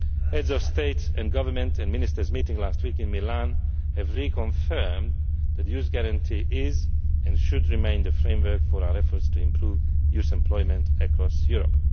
Heads of State and Government and Ministers meeting last week in Milan reconfirmed that the Youth Guarantee is and should remain the framework for our efforts to improve youth employment across Europe.